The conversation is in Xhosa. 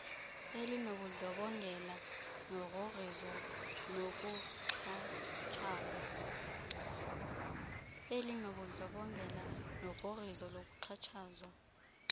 elinobundlobongela ugrogriso nokuxhatshazwa